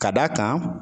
Ka d'a kan